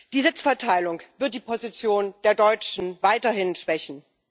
Die Sitzverteilung wird die Position der Deutschen weiterhin schwächen.